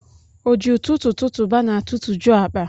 O ji ụtụtụ tụtụba n'atụtụjụ akpa.